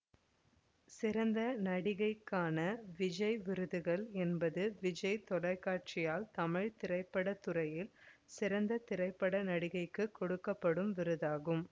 சிறந்த நடிகைக்கான விஜய் விருதுகள் என்பது விஜய் தொலைக்காட்சியால் தமிழ் திரைத்துறையில் சிறந்த திரைப்பட நடிகைக்கு கொடுக்க படும் விருதாகும்